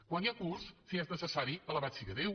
quan hi ha curs si és necessari alabat sia déu